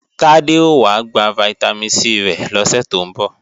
Tádé ó wá gba Vitamin C rẹ̀ lọ́sè tó ń bọ̀